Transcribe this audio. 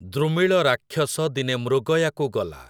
ଦୃମିଳ ରାକ୍ଷସ ଦିନେ ମୃଗୟାକୁ ଗଲା ।